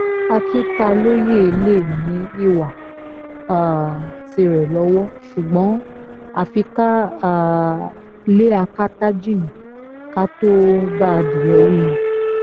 akintalóye lè ní ìwà um tirẹ̀ lọ́wọ́ ṣùgbọ́n àfi ká um lé akátá jìnnà ká tóó bá adìẹ wí ni